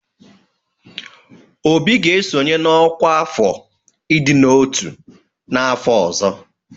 Obi ga-esonye na ọkwá afọ ịdị n'ọtú n'afọ ọzọ.